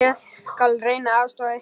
Ég skal reyna að aðstoða ykkur.